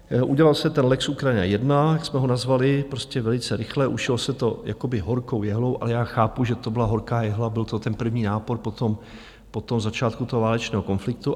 Udělal se ten lex Ukrajina 1, jak jsme ho nazvali, prostě velice rychle, ušilo se to jakoby horkou jehlou - ale já chápu, že to byla horká jehla, byl to ten první nápor po tom začátku toho válečného konfliktu.